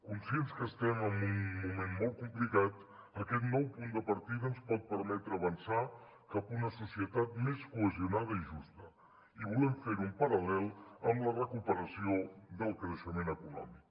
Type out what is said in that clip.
conscients que estem en un moment molt complicat aquest nou punt de partida ens pot permetre avançar cap a una societat més cohesionada i justa i volem fer ho en paral·lel amb la recuperació del creixement econòmic